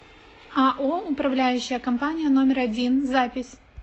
ао управляющая компания номер один запись